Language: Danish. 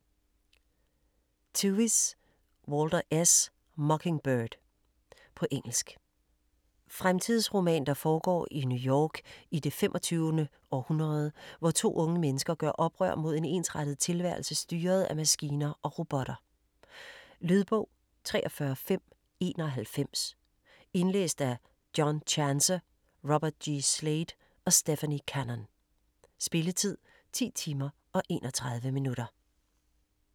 Tevis, Walter S.: Mockingbird På engelsk. Fremtidsroman, der foregår i New York i det 25. århundrede, hvor to unge mennesker gør oprør mod en ensrettet tilværelse, styret af maskiner og robotter. Lydbog 43591 Indlæst af John Chancer, Robert G. Slade og Stephanie Cannon. Spilletid: 10 timer, 31 minutter.